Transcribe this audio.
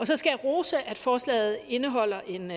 så skal jeg rose at forslaget indeholder en